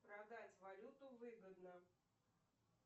продать валюту выгодно